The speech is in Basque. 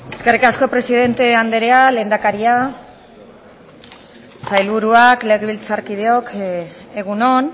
eskerrik asko presidente anderea lehendakaria sailburuak legebiltzarkideok egun on